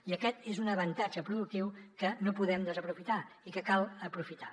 i aquest és un avantatge productiu que no podem desaprofitar i que cal aprofitar